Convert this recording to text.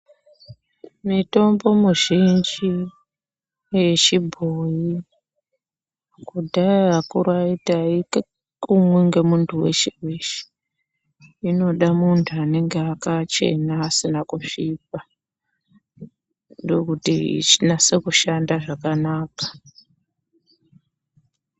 Mitombo muzhinji yechibhoyi kudhaya akuru aiti aikumwi ngemuntuu weshe weshe inoda muntu anenge akachena asina kusvipa ndokuti inase kushanda zvakanaka.